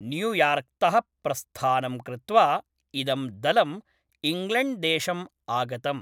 न्यूयार्क्तः प्रस्थानं कृत्वा इदं दलम् इङ्ग्लेण्ड्देशम् आगतम्।